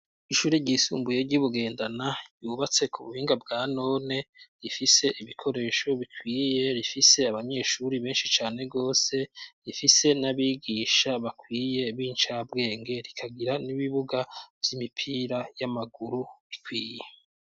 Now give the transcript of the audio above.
Ishure ryisumbuye ry'i Bugendana ryubatse ku buhinga bwa none, rifise ibikoresho bikwiye, rifise abanyeshuri benshi cane gose, rifise n'abigisha bakwiye b' incabwenge; rikagira n'ibibuga vy'imipira y'amaguru bikwiye.